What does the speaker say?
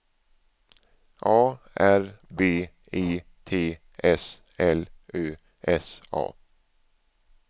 A R B E T S L Ö S A